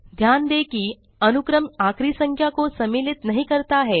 ध्यान दें कि अनुक्रम आखिरी संख्या को सम्मिलित नहीं करता है